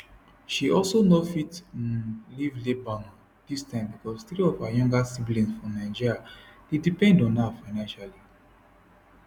she also no fit um leave lebanon dis time becos three of her younger siblings for nigeria dey depend on her financially